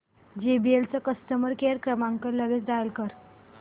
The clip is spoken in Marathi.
जेबीएल चा कस्टमर केअर क्रमांक लगेच डायल कर